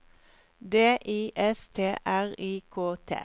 D I S T R I K T